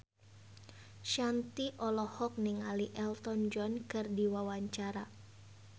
Shanti olohok ningali Elton John keur diwawancara